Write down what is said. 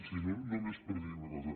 sí només per dir una cosa